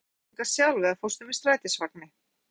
Haukur: Fórstu hingað sjálf eða fórstu með strætisvagni?